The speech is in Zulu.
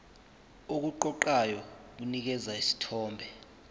okuqoqayo kunikeza isithombe